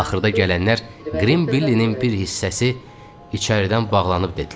Axırda gələnlər qrim billinin bir hissəsi içəridən bağlanıb dedilər.